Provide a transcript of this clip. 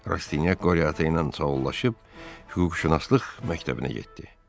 Rastinyak Qoryatı ilə çolaşıb hüquqşünaslıq məktəbinə getdi.